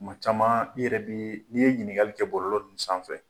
Tuma caman i yɛrɛ bi n'i ye ɲininkali kɛ bɔlɔlɔ ninnu sanfɛ